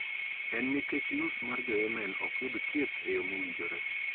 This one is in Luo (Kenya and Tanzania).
En nikech nus mar Jo-Yemen ok yud thieth e yo mowinjore